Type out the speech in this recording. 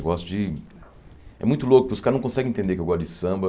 Eu gosto de... É muito louco, os caras não conseguem entender que eu gosto de samba.